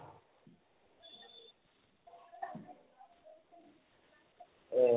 এই